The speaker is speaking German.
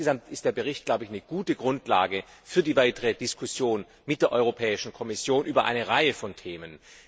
Insgesamt ist der Bericht eine gute Grundlage für die weitere Diskussion mit der Europäischen Kommission über eine Reihe von Themen.